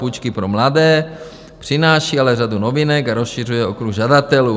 Půjčky pro mladé, přináší ale řadu novinek a rozšiřuje okruh žadatelů.